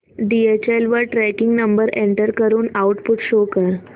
DHL वर tracking number enter करून output show कर